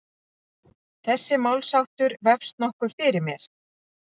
Þessi málsháttur vefst nokkuð fyrir mér.